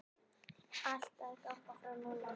Ætlarðu að ganga frá núna?